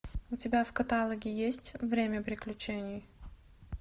у тебя в каталоге есть время приключений